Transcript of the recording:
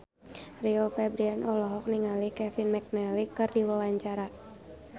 Rio Febrian olohok ningali Kevin McNally keur diwawancara